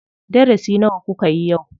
Darasi nawa kukayi yau?